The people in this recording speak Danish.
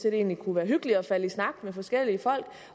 egentlig kunne være hyggeligt at falde i snak med forskellige folk